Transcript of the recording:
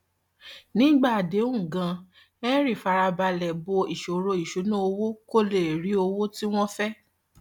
nígbà àdéhùn ganan hèrì fara balẹ bo ìṣòro ìṣúnná owó kó lè rí owó tí wọn fẹ